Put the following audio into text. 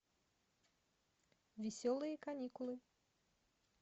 веселые каникулы